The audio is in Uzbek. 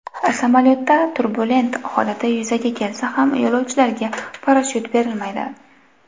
Samolyotda turbulent holati yuzaga kelsa ham, yo‘lovchilarga parashyut berilmaydi.